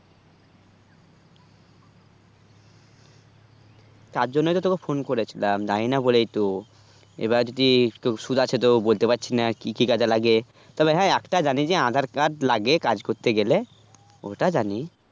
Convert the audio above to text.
তার জন তো তোকে phone করেছিলাম জানি না বলেই তো এবার যদি কেও সুদাকে তো বলতে পারছি না কি কি কাজে লাগে, তবে হ্যাঁ, একটা জানি যে আধার কার্ড লাগে কাজ করতেগেলে ওটা জানি